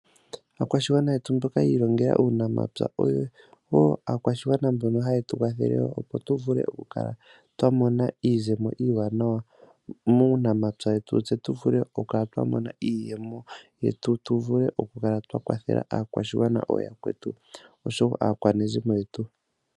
Aakwashigwana yetu mboka yi ilongele uunamapya oyo woo aakwashigwana mbono hayetu kwathele opo tuvule okukala twamona iizemo iiwanawa muunapya wetu tse tuvule okukala twamona iiyemo yetu tuvule okukala twakwathela aakwashigwana ooyakwetu oshowo aakwanezimo yetu.